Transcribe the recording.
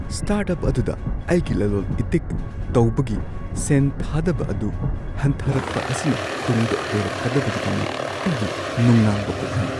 Start- up ꯑꯗꯨꯗ ꯑꯩꯒꯤ ꯂꯂꯣꯜ ꯏꯇꯤꯛ ꯇꯧꯕꯒꯤ ꯁꯦꯟ ꯊꯥꯗꯕ ꯑꯗꯨ ꯍꯟꯊꯔꯛꯄ ꯑꯁꯤꯅ ꯇꯨꯡꯗ ꯑꯣꯏꯔꯛꯀꯗꯕꯒꯤꯗꯃꯛ ꯑꯩꯕꯨ ꯅꯨꯡꯅꯥꯡꯕ ꯄꯣꯛꯍꯜꯂꯤ ꯫